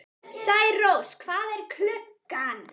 Særós, hvað er klukkan?